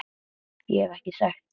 Ég hef ekki sagt það!